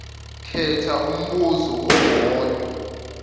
khetha umbuzo owodwa